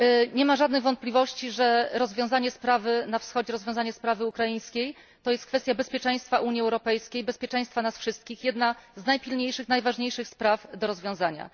Nie ma żadnych wątpliwości, że rozwiązanie sprawy na Wschodzie, rozwiązanie sprawy ukraińskiej to jest kwestia bezpieczeństwa Unii Europejskiej, bezpieczeństwa nas wszystkich, jedna z najpilniejszych, najważniejszych spraw do rozwiązania.